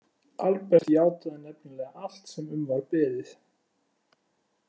Albert játaði nefnilega allt sem um var beðið.